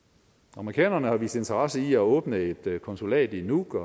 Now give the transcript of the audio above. amerikanerne har vist interesse i at åbne et konsulat i nuuk og